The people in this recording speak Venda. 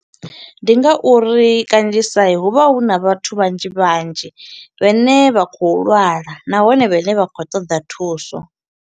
Ndi nga uri kanzhisa hu vha huna vhathu vhanzhi vhanzhi, vhane vha khou lwala, nahone vhane vha khou ṱoḓa thuso.